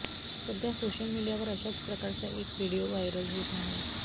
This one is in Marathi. सध्या सोशल मीडियावर अशाच प्रकारचा एक व्हिडीओ व्हायरल होत आहे